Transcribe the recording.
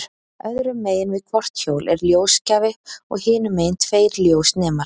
Öðru megin við hvort hjól er ljósgjafi og hinu megin tveir ljósnemar.